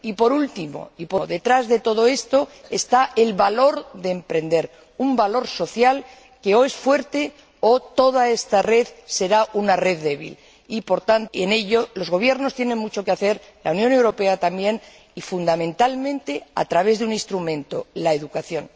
Y, por último, detrás de todo esto, está el valor de emprender, un valor social que, o es fuerte, o toda esta red será una red débil y, en ello, los gobiernos tienen mucho que hacer y la Unión Europea también, fundamentalmente a través de un instrumento la educación.